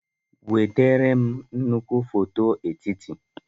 Enwetara m nnukwu foto etiti.